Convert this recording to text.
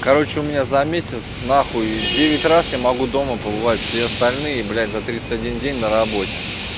короче у меня за месяц на хуй девять раз я могу дома побывать все остальные блять за тридцать один день на работе